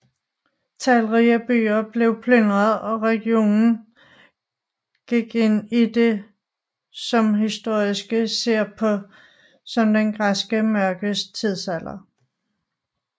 Talrige byer blev plyndret og regionen gik ind i det som historikere ser på som den græske mørke tidsalder